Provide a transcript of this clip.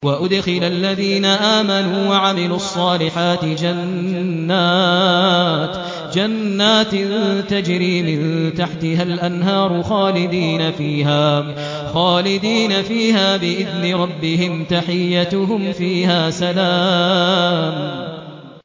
وَأُدْخِلَ الَّذِينَ آمَنُوا وَعَمِلُوا الصَّالِحَاتِ جَنَّاتٍ تَجْرِي مِن تَحْتِهَا الْأَنْهَارُ خَالِدِينَ فِيهَا بِإِذْنِ رَبِّهِمْ ۖ تَحِيَّتُهُمْ فِيهَا سَلَامٌ